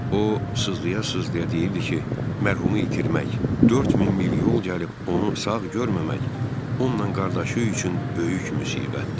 O, sızlaya-sızlaya deyirdi ki, mərhumu itirmək, 4000 mil yol gəlib onu sağ görməmək, onunla qardaşı üçün böyük müsibətdir.